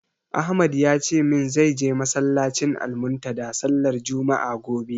Ahmad ya ce min zai je masallacin "Almuntadha" sallar juma'a, gobe.